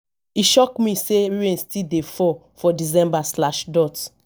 e shock me sey rain still dey fall for december.